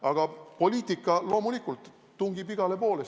Aga poliitika loomulikult tungib igale poole.